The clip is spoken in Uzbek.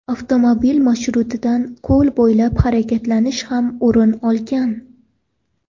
Avtomobil marshrutidan ko‘l bo‘ylab harakatlanish ham o‘rin olgan.